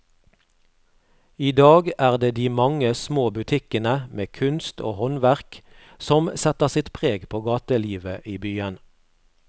I dag er det de mange små butikkene med kunst og håndverk som setter sitt preg på gatelivet i byen.